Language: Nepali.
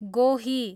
गोही